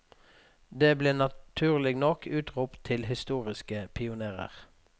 De ble naturlig nok utropt til historiske pionérer.